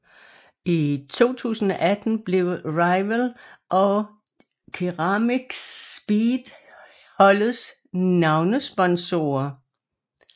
I 2018 blev Riwal og CeramicSpeed holdets navnesponsorer